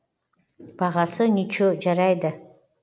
бағасы ниче жарайды